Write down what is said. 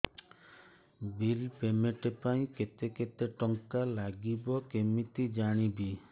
bill payment ପାଇଁ କେତେ କେତେ ଟଙ୍କା ଲାଗିବ କେମିତି ଜାଣିବି